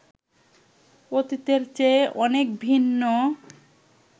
অতীতের চেয়ে অনেক ভিন্ন